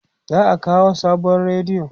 za'a kawo sabon rediyo